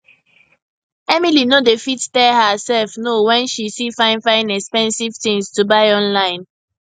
emily no dey fit tell herself no when she see fine fine expensive things to buy online